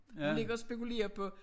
Hun ligger og spekulerer på